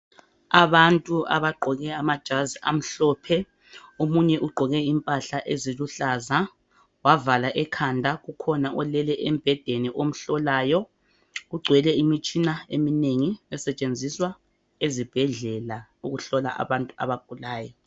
Abantu abagqoke amajazi amhlophe omunye ugqoke impahla eziluhlaza wavala ikhanda kukhona olele embhedeni omhlolayo. Kugcwele imitshina eminengi esetshenziswa ezibhedlela ukuhlola abantu abagulayo.